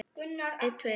Halla, Harpa og Skúli.